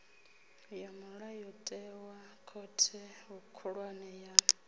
ya mulayotewa khothe khulwane ya